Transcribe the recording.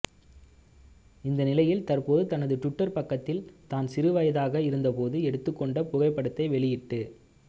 இந்நிலையில் தற்போது தனது ட்விட்டர் பக்கத்தில் தான் சிறுவயதாக இருந்தபோது எடுத்துக்கொண்ட புகைப்படத்தை வெளியிட்டு